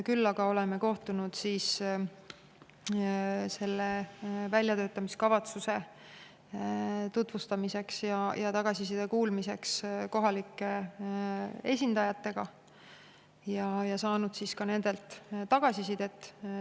Küll aga olen kohtunud selle väljatöötamiskavatsuse tutvustamiseks ja tagasiside kuulmiseks kohalike esindajatega ning saanud ka nendelt tagasisidet.